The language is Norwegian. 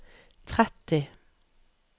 tretti